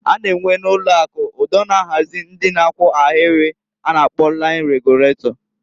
A na enwe na ụlọ akụ ụdọ na-ahazi ndị na-akwụ ahịrị a na-akpọ lain reguletọ.